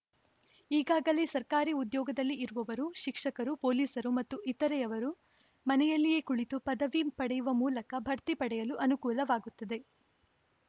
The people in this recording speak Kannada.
ಈಗಾಗಲೇ ಸರ್ಕಾರಿ ಉದ್ಯೋಗದಲ್ಲಿ ಇರುವವರು ಶಿಕ್ಷಕರು ಪೊಲೀಸರು ಮತ್ತು ಇತರೆಯವರು ಮನೆಯಲ್ಲಿಯೇ ಕುಳಿತು ಪದವಿ ಪಡೆಯುವ ಮೂಲಕ ಬಡ್ತಿ ಪಡೆಯಲು ಅನುಕೂಲವಾಗುತ್ತದೆ